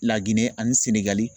Laginɛ ani Senegali